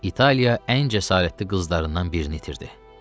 İtaliya ən cəsarətli qızlarından birini itirdi.